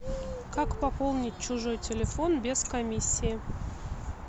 как пополнить чужой телефон без комиссии